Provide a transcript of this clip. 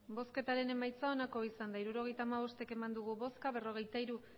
emandako botoak hirurogeita hamabost bai berrogeita hiru